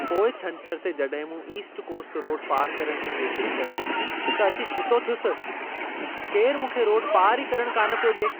पोएं छंछर ते जड॒हिं मूं ईस्ट कोस्ट रोड पारु करण जी कोशिशि कई, त अची छितो थियुसि! केरु मूंखे रोड पारु ई करणु कान पियो डि॒ए!